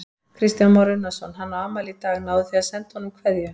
Kristján Már Unnarsson: Hann á afmæli í dag, náðuð þið að senda honum kveðju?